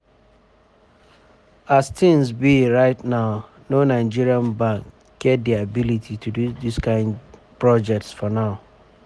as tins um be right now no nigeria um bank get di ability to do dis kain projects for now.